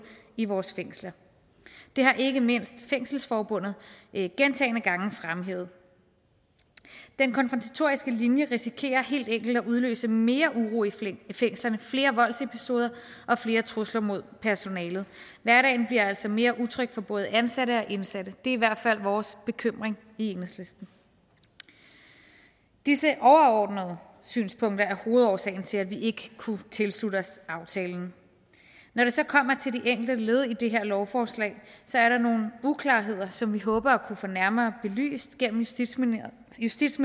i vores fængsler det har ikke mindst fængselsforbundet gentagne gange fremhævet den konfrontatoriske linje risikerer helt enkelt at udløse mere uro i fængslerne flere voldsepisoder og flere trusler mod personalet hverdagen bliver altså mere utryg for både ansatte og indsatte er i hvert fald vores bekymring i enhedslisten disse overordnede synspunkter er hovedårsagen til at vi ikke kunne tilslutte os aftalen når det så kommer til de enkelte led i det her lovforslag er der nogle uklarheder som vi håber at kunne få nærmere belyst gennem justitsministerens